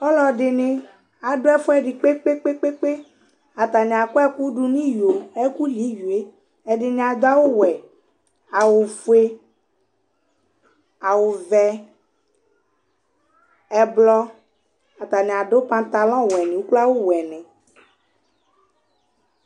ɑluɛɖiɲi ɑɖωɛfωɛɖi kpɛkpɛkpɛ ɑtɑɲiɑ ƙωɛkω ɖuŋiyọ ékωli ĩyọɛ ɛɖiŋiɑ ɖωɑwω wωɛ ɑwωfωɛ ɑwuvé ɛblɔ ɑtɑŋiɑ ɖω pɑtɛŋlɔɲ wuɛ ωkloɑwu wuɛ